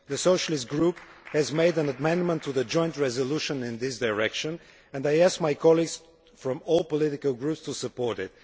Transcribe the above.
The Socialist Group has made an amendment to the joint resolution in this direction, and I ask my colleagues from all political groups to support it.